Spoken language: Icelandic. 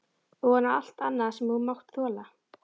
Ofan á allt annað sem þú hefur mátt þola?